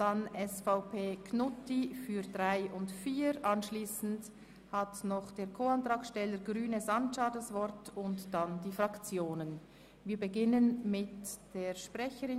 Die in den Aufgaben-/Finanzplanjahren 2019–2021 im Bericht zum EP 2018 ausgewiesenen Entlastungen sind pro Jahr um jeweils weitere 20 Prozent zu erhöhen, Über die gesamte Periode 2018-2021 ergeben sich dadurch zusätzliche Entlastungen im Umfang von insgesamt CHF 1,144 Millionen.